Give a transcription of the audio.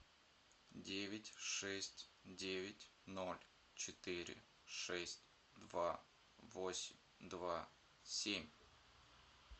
девять шесть девять ноль четыре шесть два восемь два семь